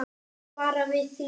Bara við þrjú.